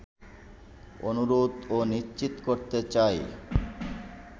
অনুরোধ ও নিশ্চিত করতে চাই